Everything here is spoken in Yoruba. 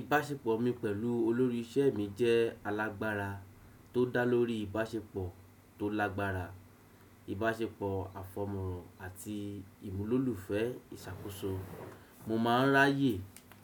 Ìbáṣepọ̀ mi pẹ̀lú olórí iṣẹ́ mi jẹ́ alágbára tó dá lórí ìbáṣepọ̀ tó lágbára, ìbáṣepọ̀ àfọ̀mọ́ràn àti ìmúlòlùfẹ́ ìṣàkóso. Mo máa ń ráyè